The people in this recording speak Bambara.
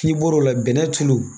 N'i bɔr'o la bɛnɛ tulu